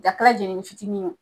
A kɛ la jɛnini fitini ye o